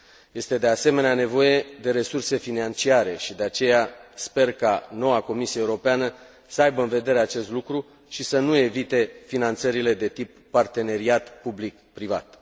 Este, de asemenea, nevoie de resurse financiare și de aceea, sper ca noua Comisie Europeană să aibă în vedere acest lucru și să nu evite finanțările de tip parteneriat public privat.